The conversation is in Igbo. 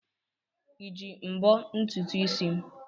Iji mbọ ntutu isi m?